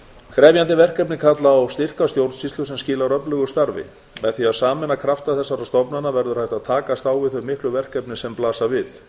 krefjandi verkefni kalla á styrka stjórnsýslu sem skilar öflugu starfi með því að sameina krafta þessara stofnana verður hægt að takast á við þau miklu verkefni sem blasa við